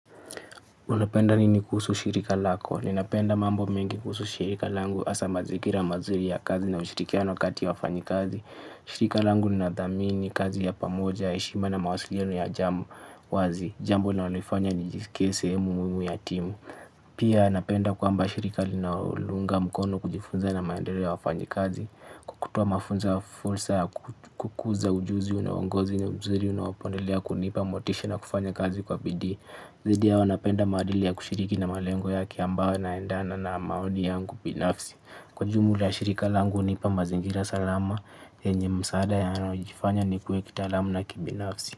Unapenda nini kuhusu shirika lako. Ninapenda mambo mengi kuhusu shirika langu. Asa mazigira mazuri ya kazi na ushirikiano kati ya wafanyikazi. Shirika langu linathamini kazi ya pamoja, heshima na mawasiliano ya jamu wazi. Jamno linalonifanya nijisikie sehemu muimu ya timu. Pia napenda kwamba shirika linaounga mkono kujifunza na maendereo ya wafanyikazi. Kwa kutoa mafunzo ya fulsa, ya kukuza ujuzi, nao uwongozi, ni mzuri unawapoendelea, kunipa motisha na kufanya kazi kwa bidii. Zaidi ya hao napenda maadili ya kushiriki na malengo yake ambao yanaendana na maoni yangu binafsi. Kwa jumula shirika langu hunipa mazingira salama yenye msaada na yanayojifanya nikuwe kitaalamu na kibinafsi.